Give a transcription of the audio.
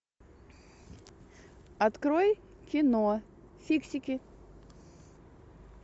открой кино фиксики